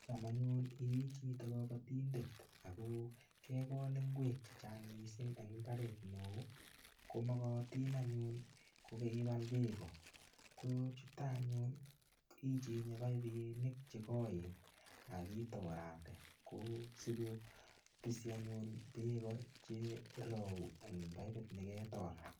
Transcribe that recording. Cham anyun ii chito kobotindet ako kekol ngwek che chang mising eng mbareng'ung' ko mokotin anyun kokeibal beko ko chuto anyun ichenye baibinik che koen akitorate ko sikopisi anyun beko cherou eng baibit niketor.